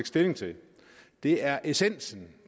stilling til det er essensen